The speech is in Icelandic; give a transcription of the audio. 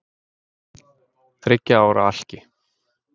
Þriggja ára alki